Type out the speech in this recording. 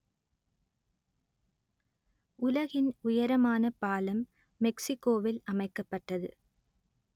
உலகின் உயரமான பாலம் மெக்சிக்கோவில் அமைக்கப்பட்டது